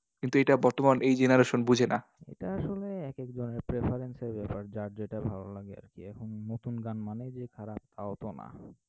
কিন্তু এটা বর্তমান এই generation বোঝে না। এটা আসলে এক একজনের preference এর ব্যাপার। যার যেটা ভালো লাগে আর কি। এখন নতুন গান মানেই যে খারাপ, তাও তো না।